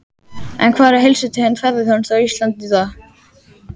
En hvar er heilsutengd ferðaþjónusta á Íslandi í dag?